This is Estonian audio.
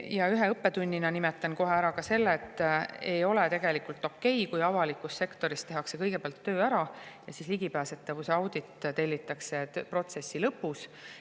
Ja ühe õppetunnina nimetan kohe ära ka selle, et ei ole tegelikult okei, et avalikus sektoris tehakse kõigepealt töö ära ja ligipääsetavuse audit tellitakse alles protsessi lõpus.